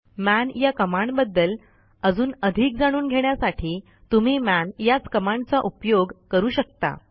मन या कमांडबद्दल अजून अधिक जाणून घेण्यासाठी तुम्ही मन याच कमांडचा उपयोग करू शकता